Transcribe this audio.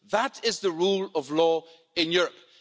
That is the rule of law in Europe.